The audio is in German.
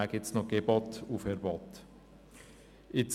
Dann gibt es noch Gebote und Verbote.